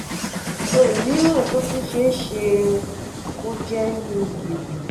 ohun mìíràn tó tún ṣe é ṣe kó jẹ́ ni gìrì